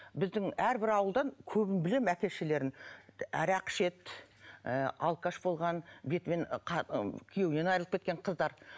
біздің әрбір ауылдан көбін білемін әке шешелерін арақ ішеді ыыы алқаш болған бетімен күйеуінен айырылып кеткен қыздар